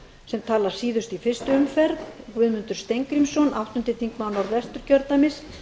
sem talar síðust í fyrstu umferð guðmundur steingrímsson áttundi þingmaður norðvesturkjördæmis